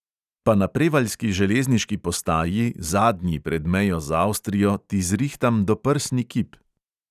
Pa na prevaljski železniški postaji, zadnji pred mejo z avstrijo, ti zrihtam doprsni kip!